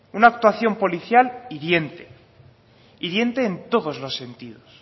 una actuación policial hiriente hiriente en todos los sentidos